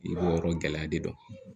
I b'o yɔrɔ gɛlɛya de dɔn